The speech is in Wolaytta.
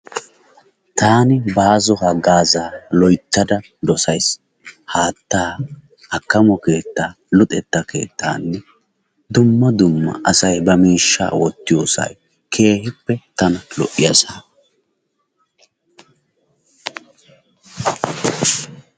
Taani baazo hagaazaa loyttada dossays. Haattaa, akkamo keettaa, luxetta keettaanne dumma dumma asay miishshaa wottiyossaa tana lo'iyassa.